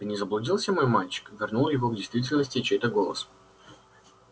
ты не заблудился мой мальчик вернул его к действительности чей-то голос